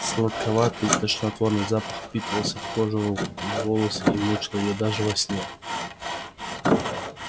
сладковатый тошнотворный запах впитывался в кожу рук в волосы и мучил её даже во сне